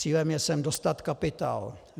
Cílem je sem dostat kapitál.